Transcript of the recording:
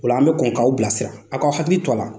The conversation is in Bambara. O la an bɛ kɔn k'aw bilasira a k'aw hakili to a la.